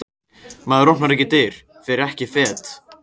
Maður opnar ekki dyr, fer ekki fet.